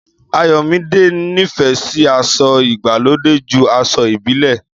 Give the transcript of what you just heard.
Àyọmidẹ nì fé sì àsọ Ìgbàlode jù àsọ̀ ìbílẹ